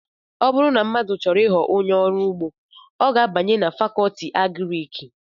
ọ bụrụ na mmadụ chọrọ ịghọ onye ọrụ ugbo ọ ga abanye na Fakọọti Agrịki